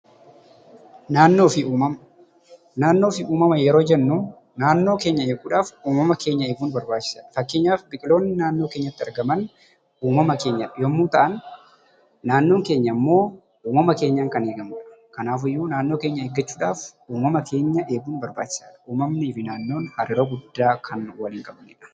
Naannoo fi uumama Naannoo fi uumama yeroo jennu, naannoo keenya eeguudhaaf uumama eeguun barbaachisaadha. Fakkeenyaaf biqiltoonni naannoo keenyatti argaman uumama keenya yemmuu ta'an, naannoon keenya immoo uumama keenya of keessatti qabatanidha. Kanaaf iyyuu naannoo keenya eeguudhaaf, uumama keenya eeguun barbaachisaadha. Uumamnii fi naannoon hariiroo guddaa kan waliin qabanidha.